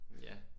Ja